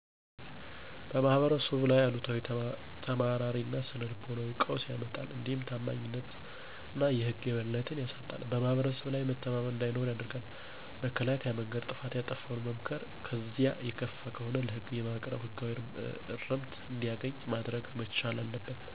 በማህበረሰቡ ላይ አሉታዊ ተማራሪ እና ስነ ልቦናዊ ቀውስ ያመጣል። እንዲሁም ታማኝነትን የህግ የበላይነትን ያሳጣል :በማህብረሰብ ላይ መተማመን እንዳይኖር ያደርጋል። መከላከያ መንገድ ጥፋት ያጠፋውን መምከር ከዚያም የከፋ ከሆነ ለህግ በማቅረብ ህጋዊ እርምት እንዲያገኝ ማድረግ መቻል አለበት።